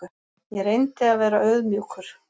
Ég reyndi að vera auðmjúkur.